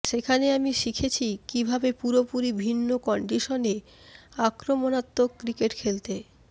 সেখানে আমি শিখেছি কীভাবে পুরোপুরি ভিন্ন কন্ডিশনে আক্রমণাত্মক ক্রিকেট খেলতে